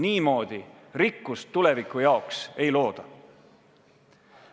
Niimoodi tuleviku jaoks rikkust ei looda.